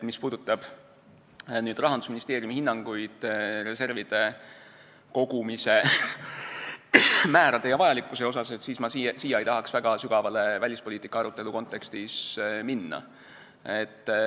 Mis puudutab Rahandusministeeriumi hinnanguid reservide kogumise määrade ja vajalikkuse kohta, siis ma ei tahaks siin väga sügavale välispoliitika arutelu kontekstis minna.